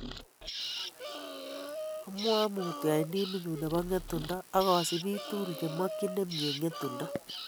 "Amwae mutyo en timinyun bo Ng'etundo ak kosibiik tugul chemokyin nemie Ng'etundo.